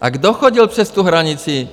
A kdo chodil přes tu hranici?